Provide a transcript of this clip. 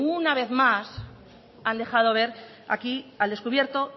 una vez más han dejado ver aquí al descubierto